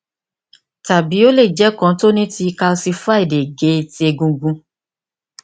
tabi o le jẹ kan ti o ni ti kalsified ege ti egungun